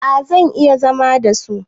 A zan iya zama da su